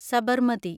Sabarmati